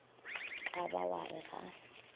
ka ba wa re ga